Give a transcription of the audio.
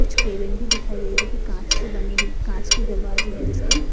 कुछ केबिन भी दिखाई दे रहे जोकि कांच से बने हु कांच के दरवाजे है जिसके--